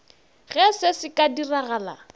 ge se se ka diragala